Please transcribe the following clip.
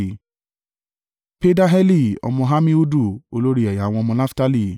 Pedaheli ọmọ Ammihudu, olórí ẹ̀yà àwọn ọmọ Naftali.”